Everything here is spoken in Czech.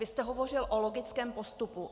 Vy jste hovořil o logickém postupu.